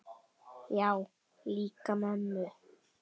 Já, líka mömmu